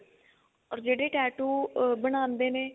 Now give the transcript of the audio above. or ਜਿਹੜੇ tattoo ah ਬਣਾਂਦੇ ਨੇ